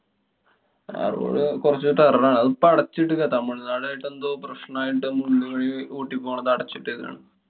ആ road കൊറച്ചു terror ആണ്. അത് ഇപ്പോ അടച്ചിട്ടിരിക്കാ. തമിഴ്നാട് ആയിട്ടെന്തോ പ്രശ്നായിട്ടു മുള്ളി വഴി ഊട്ടി പോണതു അടച്ചിട്ടിരിക്ക്യാണ്.